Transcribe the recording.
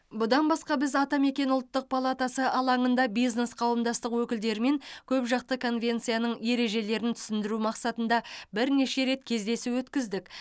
бұдан басқа біз атамекен ұлттық палатасы алаңында бизнес қауымдастық өкілдерімен көпжақты конвенцияның ережелерін түсіндіру мақсатында бірнеше рет кездесу өткіздік